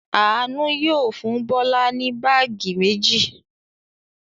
Àánú yóò fún Bọ́lá ní báágì méjì.